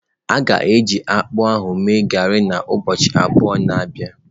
A ga-eji akpụ ahụ mee garị na ubọọchi abụọ na bia.